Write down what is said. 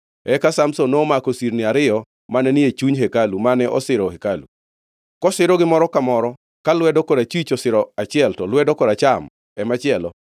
Eka Samson nomako sirni ariyo mane ni e chuny hekalu mane osiro hekalu. Kosirogi moro ka moro, ka lwedo korachwich osiro achiel to lwedo koracham e machielo,